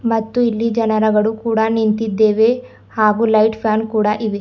ಮತ್ತು ಇಲ್ಲಿ ಜನರಗಳ ಕೂಡ ನಿಂತಿದ್ದೇವೆ ಹಾಗು ಲೈಟ್ ಫ್ಯಾನ್ ಕೂಡ ಇವೆ.